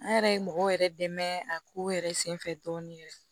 An yɛrɛ ye mɔgɔw yɛrɛ dɛmɛ a ko yɛrɛ senfɛ dɔɔnin yɛrɛ